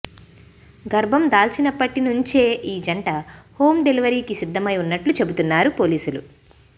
గర్భం దాల్చినప్పటి నుంచే ఈ జంట హోమ్ డెలివరీకి సిద్ధమై ఉన్నట్లు చెబుతున్నారు పోలీసులు